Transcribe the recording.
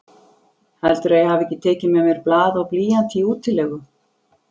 Heldurðu að ég hafi tekið með mér blað og blýant í útilegu?